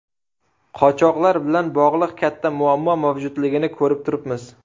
Qochoqlar bilan bog‘liq katta muammo mavjudligini ko‘rib turibmiz.